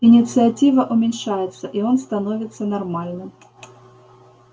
инициатива уменьшается и он становится нормальным